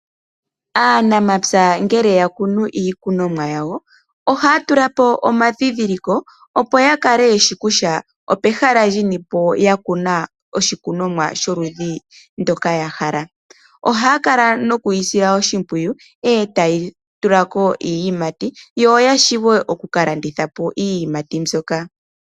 Aanamapya ngele yakunu iikunomwa yawo , ohaya tulapo omandhindhiliko opo yakale yeshi kutya opehala linipo yakuna oshikunomwa sholudhi ndyoka yahala . Ohaya kala nokuyi sila oshimpwiyu, etayi tulako iiyimati yo yawape okukalandithapo iiyimati mbyoka.